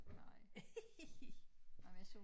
Nej ah men jeg så